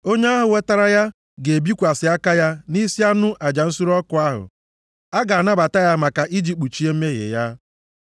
Onye ahụ wetara ya ga-ebikwasị aka ya nʼisi anụ aja nsure ọkụ ahụ, a ga-anabata ya maka iji kpuchie mmehie ya.